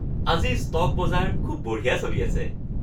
আজি ষ্টক বজাৰ খুব বঢ়িয়া চলি আছে